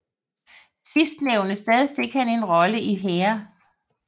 Sidstnævnte sted fik han en rolle i Hair